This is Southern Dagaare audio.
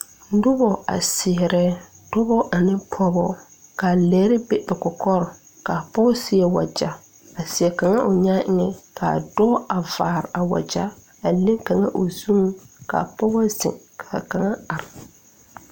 Nobɔ a seɛrɛ dɔɔbɔ ane pɔɔba kaa lɛre be ba kɔkɔre kaavpɔg seɛ wagya a seɛ kaŋa o nyaa eŋɛ kaa dɔɔ a vaare a wagyɛa leŋ kaŋa o zuŋ ka pɔgɔ zeŋ ka kaŋa are.